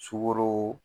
Sukoro